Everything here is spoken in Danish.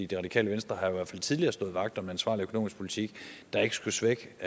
det radikale venstre har i hvert fald tidligere stået vagt om en ansvarlig økonomisk politik der ikke skulle svække